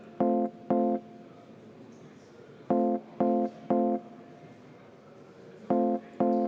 Aitäh teile!